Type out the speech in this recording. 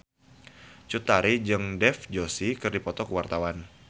Cut Tari jeung Dev Joshi keur dipoto ku wartawan